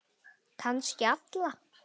Kannski alla.